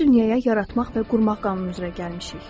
Biz dünyaya yaratmaq və qurmaq qanunu üzrə gəlmişik.